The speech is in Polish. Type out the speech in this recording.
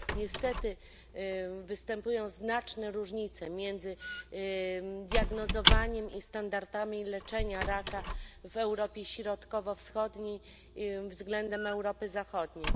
Niestety występują znaczne różnice między diagnozowaniem i standardami leczenia raka w Europie Środkowo Wschodniej względem Europy Zachodniej.